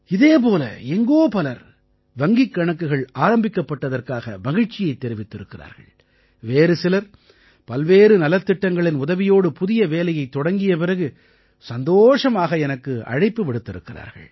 இதே போல எங்கோ பலர் வங்கிக் கணக்குகள் ஆரம்பிக்கப்பட்டதற்காக மகிழ்ச்சியைத் தெரிவித்திருக்கிறார்கள் வேறு சிலர் பல்வேறு நலத்திட்டங்களின் உதவியோடு புதிய வேலையைத் தொடங்கிய பிறகு சந்தோஷமாக எனக்கு அழைப்பு விடுத்திருக்கிறார்கள்